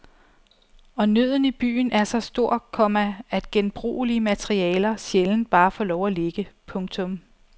Og nøden i byen er så stor, komma at genbrugelige materialer sjældent bare får lov at ligge. punktum